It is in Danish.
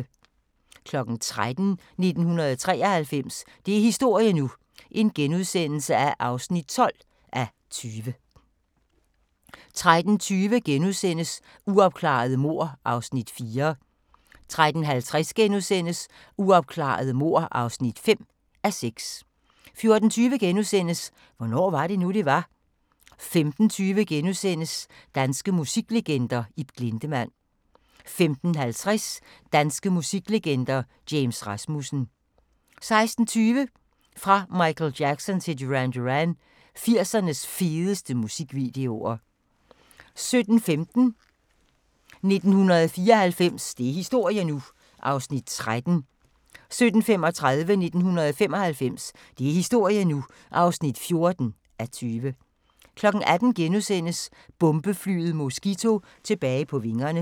13:00: 1993 – det er historie nu (12:20)* 13:20: Uopklarede mord (4:6)* 13:50: Uopklarede mord (5:6)* 14:20: Hvornår var det nu, det var? * 15:20: Danske musiklegender: Ib Glindemann * 15:50: Danske musiklegender: James Rasmussen 16:20: Fra Michael Jackson til Duran Duran – 80'ernes fedeste musikvideoer 17:15: 1994 – det er historie nu! (13:20) 17:35: 1995 – det er historie nu! (14:20) 18:00: Bombeflyet Mosquito tilbage på vingerne *